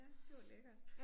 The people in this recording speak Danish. Ja det var lækkert